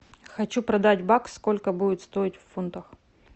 хочу продать бакс сколько будет стоить в фунтах